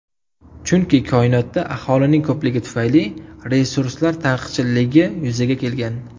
Chunki koinotda aholining ko‘pligi tufayli resurslar taqchilligi yuzaga kelgan.